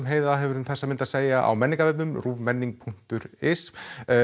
Heiða hefur um þessa mynd að segja á menningarvefnum ruvmenning punktur is